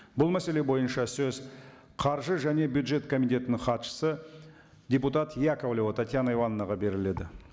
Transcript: бұл мәселе бойынша сөз қаржы және бюджет комитетінің хатшысы депутат яковлева татьяна ивановнага беріледі